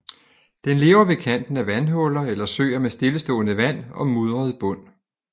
Den lever ved kanten af vandhuller eller søer med stillestående vand og mudret bund